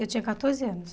Eu tinha quatorze anos.